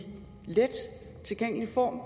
let tilgængelig form